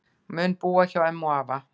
Mun búa hjá ömmu og afa